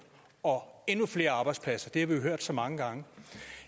og endnu flere arbejdspladser det har vi jo hørt så mange gange